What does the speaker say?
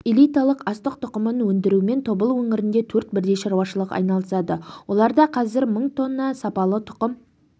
элиталық астық тұқымын өндірумен тобыл өңірінде төрт бірдей шаруашылық айналысады оларда қазір мың тонна сапалы тұқым